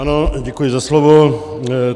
Ano, děkuji za slovo.